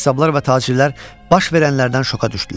Qəssablar və tacirlər baş verənlərdən şoka düşdülər.